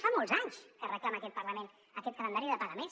fa molts anys que reclama aquest parlament aquest calendari de pagaments